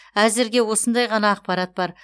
әзірге осындай ғана ақпарат бар